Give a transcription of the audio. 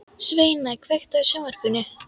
Sveina, kveiktu á sjónvarpinu.